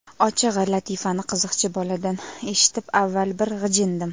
Ochig‘i, latifani qiziqchi boladan eshitib avval bir g‘ijindim.